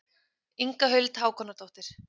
Inga Huld Hákonardóttir.